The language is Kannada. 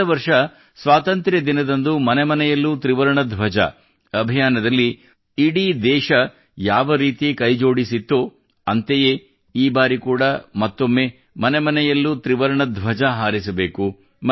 ಕಳೆದ ವರ್ಷ ಸ್ವಾತಂತ್ರ್ಯ ದಿನದಂದು ಮನೆ ಮನೆಯಲ್ಲೂ ತ್ರಿವರ್ಣ ಧ್ವಜ ಅಭಿಯಾನದಲ್ಲಿ ಇಡೀ ದೇಶ ಯಾವರೀತಿ ಕೈಜೋಡಿಸಿತ್ತೋ ಅಂತೆಯೇ ಈ ಬಾರಿ ಕೂಡಾ ಮತ್ತೊಮ್ಮೆ ಮನೆ ಮನೆಯಲ್ಲೂ ತ್ರಿವರ್ಣ ಧ್ವಜ ಹಾರಿಸಬೇಕು